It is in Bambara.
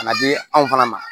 Ka na di anw fana ma